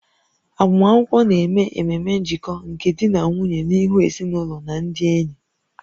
Agbamakwụkwọ na-eme ememe njikọ nke di na nwunye n'ihu ezinụlọ na ndị enyi